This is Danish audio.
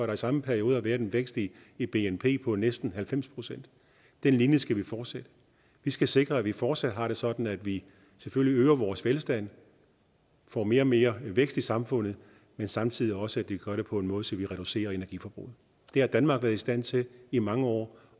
den samme periode har været en vækst i i bnp på næsten halvfems procent den linje skal vi fortsætte vi skal sikre at vi fortsat har det sådan at vi selvfølgelig øger vores velstand får mere og mere vækst i samfundet men samtidig også gør det på en måde så vi reducerer energiforbruget det har danmark været i stand til i mange år